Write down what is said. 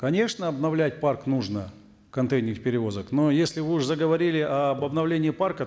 конечно обновлять парк нужно контейнерных перевозок но если вы уже заговорили об обновлении парка